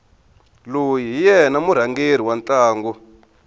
loyi hi yena murhangeri wa ntlangu